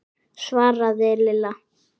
svaraði Lilla.